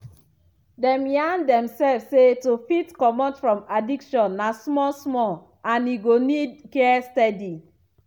dem yarn demself say to fit comot from addiction na small small and e go need care steady.